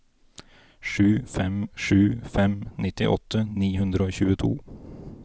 sju fem sju fem nittiåtte ni hundre og tjueto